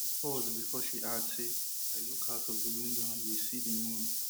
she pause bifor she add say i look out of di window and we see di moon